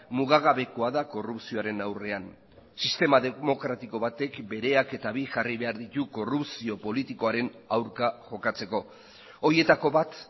mugagabekoa da korrupzioaren aurrean sistema demokratiko batek bereak eta bi jarri behar ditu korrupzio politikoaren aurka jokatzeko horietako bat